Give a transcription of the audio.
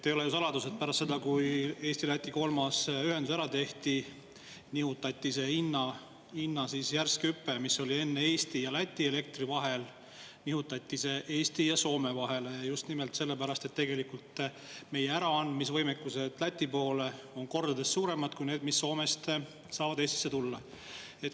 Ei ole ju saladus, et pärast seda, kui Eesti-Läti kolmas ühendus ära tehti, nihutati see hinna järsk hüpe, mis oli enne Eesti ja Läti elektri vahel, Eesti ja Soome vahele, just nimelt sellepärast, et tegelikult meie Läti poole ära anda kordades kui Soomest saab Eestisse tulla.